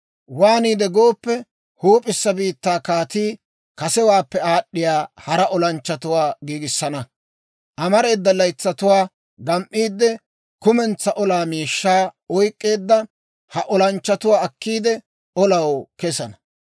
«Waaniide gooppe, huup'issa biittaa kaatii kasewaappe aad'd'iyaa hara olanchchatuwaa giigissana; amareeda laytsatuwaa gam"iidde, kumentsaa olaa miishshaa oyk'k'eedda ha olanchchatuwaa akkiide, olaw kesana.